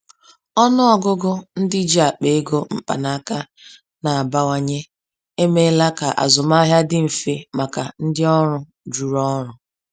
Ọnụ ọgụgụ ndị ji akpa ego mkpanaka na-abawanye emeela ka azụmahịa dị mfe maka ndị ọrụ juru ọrụ.